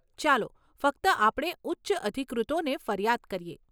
ચાલો ફક્ત આપણે ઉચ્ચ અધિકૃતોને ફરિયાદ કરીએ.